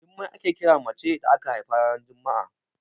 Jummai ake kira mace da aka haifa ranar juma'a.